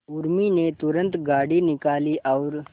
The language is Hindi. उर्मी ने तुरंत गाड़ी निकाली और